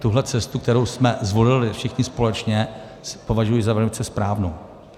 Tuhle cestu, kterou jsme zvolili všichni společně, považuji za velice správnou.